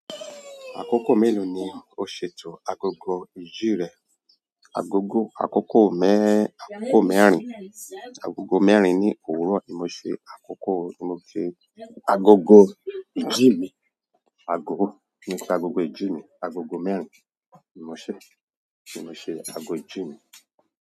Àkókò mélòó ni o ṣètò agogo ìjì rẹ? Agogo, àkókò mẹ́, àkókò mẹ́rin, agogo mẹ́rin ni òwúrọ̀ ni mo ṣe àkókò, mo ṣe agogo ìjí mi, agogo, ni pé agogo ìjí mi, agogo mẹ́rin ni mo ṣe, ni mo ṣe ago ìjí mi.